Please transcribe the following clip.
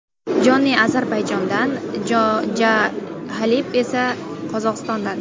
Jony Ozarbayjondan, Jah Khalib esa Qozog‘istondan.